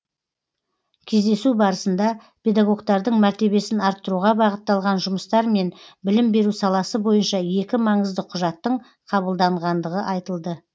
кездесу барысында педагогтардың мәртебесін арттыруға бағытталған жұмыстар мен білім беру саласы бойынша екі маңызды құжаттың қабылданғандығы айтылды